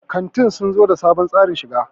kantin sun zo da sabon tsarin shiga